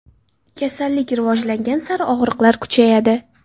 Kasallik rivojlangan sari og‘riqlar kuchayadi.